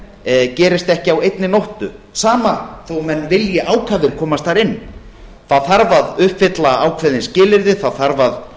evrópusambandsaðild gerist ekki á einni nóttu sama þó menn vilji ákafir komast þar inn þá þarf að uppfylla ákveðin skilyrði það þarf að